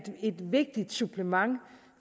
vigtigt supplement